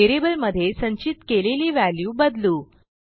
व्हेरिएबलमध्ये संचित केलेली व्हॅल्यू बदलू